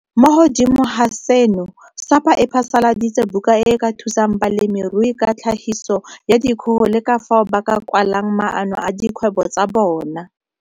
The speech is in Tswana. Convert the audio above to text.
Mo godimo ga seno, SAPA e phasaladitse buka e e ka thusang balemirui ka tlhagiso ya dikgogo le ka fao ba ka kwalang maano a dikgwebo tsa bona.